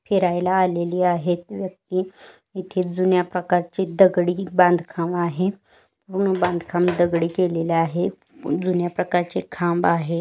फिरायला आलेली आहेत व्यक्ती इथे जुन्या प्रकारची दगडी बांधकाम आहे पूर्ण बांधकाम दगडी केलेलं आहे जुन्या प्रकारचे खांब आहे.